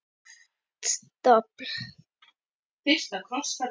Hart dobl.